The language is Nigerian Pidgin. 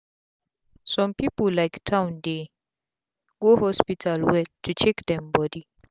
some people like town dey go hospital well to check dem body